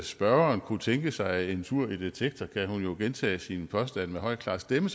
spørgeren kunne tænke sig en tur i detektor kan hun jo gentage sine påstande med høj klar stemme